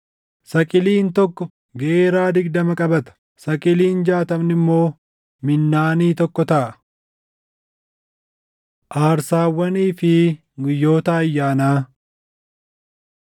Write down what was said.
Saqiliin + 45:12 Saqiliin tokko giraamii 11.5. tokko geeraa + 45:12 Geeraan tokko giraamii 6. digdama qabata; saqiliin jaatamni immoo minnaanii + 45:12 Minnaaniin tokko giraamii 600. tokko taʼa. Aarsaawwanii fi Guyyoota Ayyaanaa